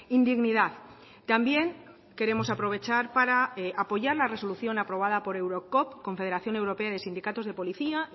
indignidad también queremos aprovechar para apoyar la resolución aprobada por eurocop confederación europea de sindicatos de policía